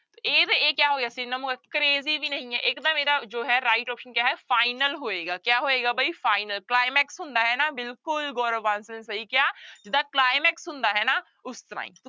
ਇਹ ਤਾਂ ਇਹ ਕਿਆ ਹੋ ਗਿਆ synonym ਹੋ crazy ਵੀ ਨਹੀਂ ਹੈ ਇੱਕਦਮ ਇਹਦਾ ਜੋ ਹੈ right option ਕਿਆ ਹੈ final ਹੋਏਗਾ ਕਿਆ ਹੋਏਗਾ ਬਈ final climax ਹੁੰਦਾ ਹੈ ਨਾ ਬਿਲਕੁਲ ਗੋਰਵ ਬਾਂਸਲ ਸਹੀ ਕਿਆ ਜਿੱਦਾਂ climax ਹੁੰਦਾ ਹੈ ਨਾ ਉਸ ਤਰ੍ਹਾਂ ਹੀ।